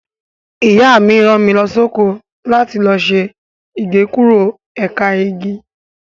Ìyá mi rán mi lọ sóko láti lọ ṣe Igékúrò ẹ̀ka igi.